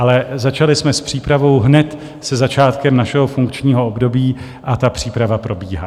Ale začali jsme s přípravou hned se začátkem našeho funkčního období a ta příprava probíhá.